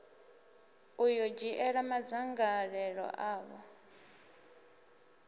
u ḓo dzhiela madzangalelo avho